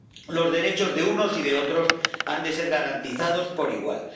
Los derechos de unos y de otros han de ser garantizados por igual.